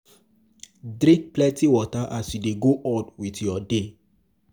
Drink plenty water as you dey go on with your day